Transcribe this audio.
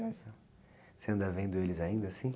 anda vendo eles ainda assim?